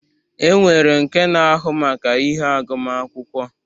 E nwere nke na-ahụ maka ihe agụma akwụkwọ.